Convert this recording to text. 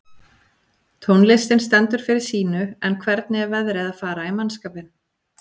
Tónlistin stendur fyrir sínu en hvernig er veðrið að fara í mannskapinn?